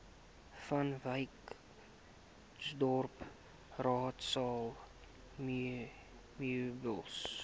vanwyksdorp raadsaal meubels